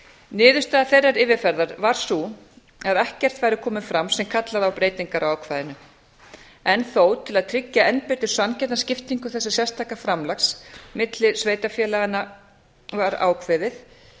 niðurstaða þeirrar yfirferðar var sú að ekkert væri komið fram sem kallaði á breytingar á ákvæðinu enn þó til að tryggja enn betur sanngjarna skiptingu þessa sérstaka framlags milli sveitarfélaganna var ákveðið